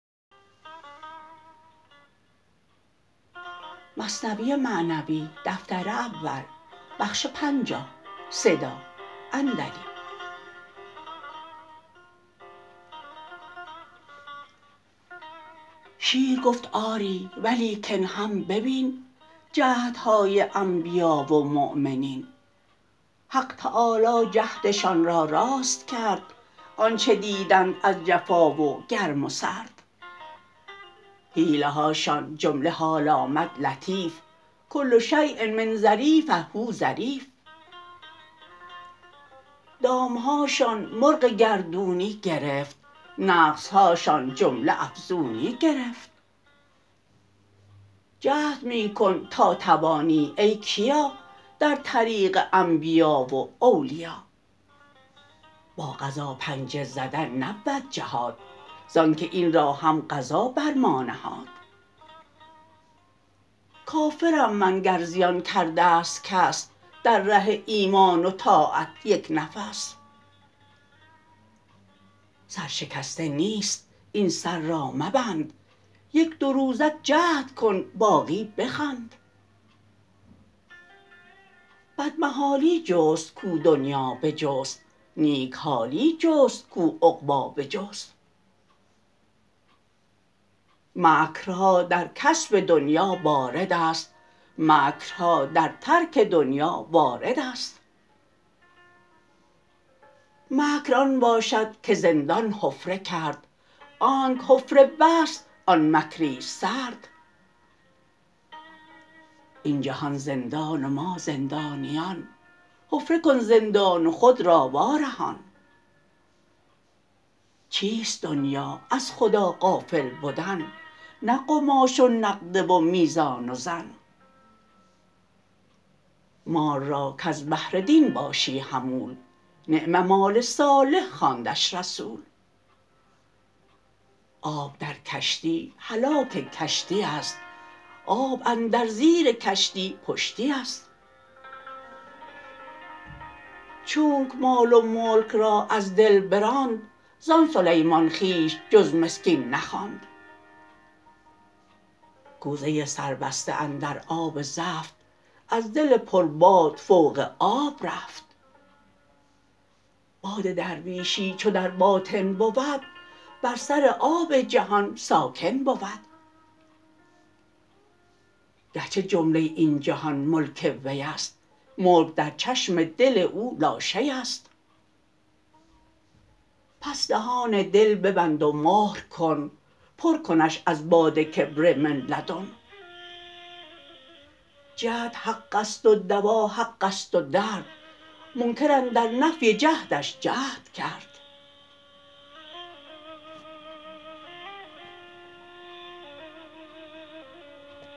شیر گفت آری ولیکن هم ببین جهد های انبیا و مؤمنین حق تعالی جهد شان را راست کرد آنچه دیدند از جفا و گرم و سرد حیله هاشان جمله حال آمد لطیف کل شیء من ظریف هو ظریف دام هاشان مرغ گردونی گرفت نقص هاشان جمله افزونی گرفت جهد می کن تا توانی ای کیا در طریق انبیاء و اولیا با قضا پنجه زدن نبود جهاد زانکه این را هم قضا بر ما نهاد کافر م من گر زیان کرده ست کس در ره ایمان و طاعت یک نفس سر شکسته نیست این سر را مبند یک دو روزک جهد کن باقی بخند بد محالی جست کاو دنیا بجست نیک حالی جست کاو عقبی بجست مکر ها در کسب دنیا بارد است مکر ها در ترک دنیا وارد است مکر آن باشد که زندان حفره کرد آنکه حفره بست آن مکری ست سرد این جهان زندان و ما زندانیان حفره کن زندان و خود را وا رهان چیست دنیا از خدا غافل بدن نه قماش و نقده و میزان و زن مال را کز بهر دین باشی حمول نعم مال صالح خواندش رسول آب در کشتی هلاک کشتی است آب اندر زیر کشتی پشتی است چونکه مال و ملک را از دل براند زان سلیمان خویش جز مسکین نخواند کوزه سربسته اندر آب زفت از دل پر باد فوق آب رفت باد درویشی چو در باطن بود بر سر آب جهان ساکن بود گر چه جمله این جهان ملک وی ست ملک در چشم دل او لاشی ست پس دهان دل ببند و مهر کن پر کنش از باد کبر من لدن جهد حق ست و دوا حق ست و درد منکر اندر نفی جهد ش جهد کرد